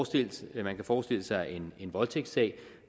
tiltalte man kan forestille sig en voldtægtssag